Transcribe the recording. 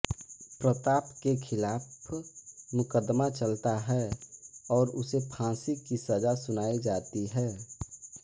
प्रताप के खिलाफ मुकदमा चलता है और उसे फांसी की सजा सुनाई जाती है